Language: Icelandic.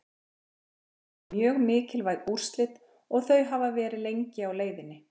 Þetta voru mjög mikilvæg úrslit og þau hafa verið lengi á leiðinni.